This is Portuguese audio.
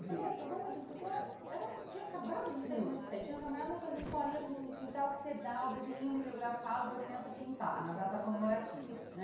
É, por conta disso, porque eu era... tinha acabado de sair do magistério, tinha trabalhado nessas escolinhas de fundo de quintal que você dá o desenhinho mimeografado para a criança pintar, na data comemorativa, né?